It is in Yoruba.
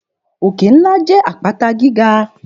Òkè ńlá jẹ́ àpáta gíga